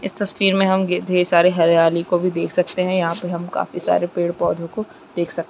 इस तस्वीर गे मे हम ढेर सारे हरियाली को भी देख सकते है यहाँ पे हम काफी सारे पेड़-पौधे को देख सकते--